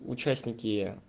участники